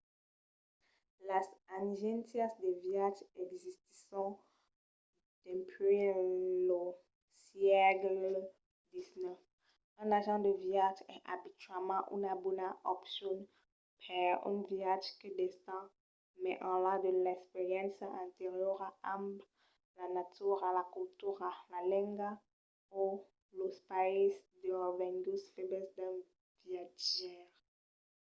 las agéncias de viatge existisson dempuèi lo sègle xix. un agent de viatge es abituament una bona opcion per un viatge que d'estend mai enlà de l’experiéncia anteriora amb la natura la cultura la lenga o los païses de revenguts febles d'un viatjaire